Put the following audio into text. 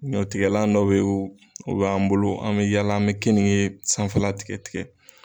Ɲɔtigɛlan dɔ bɛ u b'an bolo an bɛ yaala an bɛ kenige ye sanfɛla tigɛ tigɛ